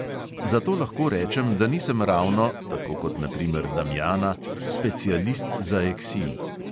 Zato lahko rečem, da nisem ravno, tako kot na primer damjana, specialist za eksil ...